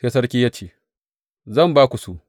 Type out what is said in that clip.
Sai sarki ya ce, Zan ba ku su.